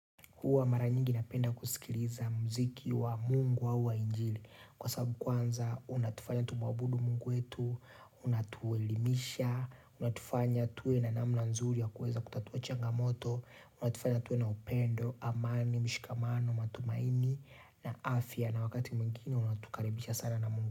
Huwa mara nyingi napenda kusikiliza muziki wa mungu au wa injili. Kwa sababu kwanza, unatufanya tumwabudu mungu wetu, unatuelimisha, unatufanya tuwe na namna nzuri ya kuweza kutatua changamoto, unatufanya tuwe na upendo, amani, mshikamano, matumaini, na afya. Na wakati mwingine, unatukaribisha sana na mungu.